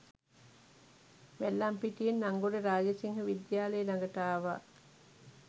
වැල්ලම්පිටියෙන් අංගොඩ රාජසිංහවිද්‍යාලය ළඟට ආවා